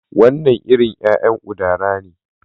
Wannan iri ya'yan udara ne